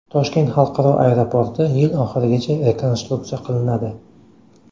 Toshkent xalqaro aeroporti yil oxirigacha rekonstruksiya qilinadi.